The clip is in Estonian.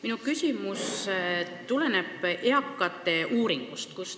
Minu küsimus tuleneb eakate uuringust.